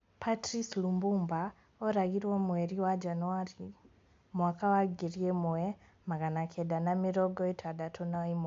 Patrice Lumbumba oragirwo mweri wa Januarĩ mwaka wa ngiri ĩmwe magana kenda ma mĩrongo ĩtandatũ na ĩmwe